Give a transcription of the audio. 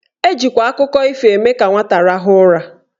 Ejikwa akụkọ ifo eme ka nwata rahụọ ụra.